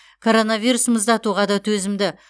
коронавирус мұздатуға да төзімді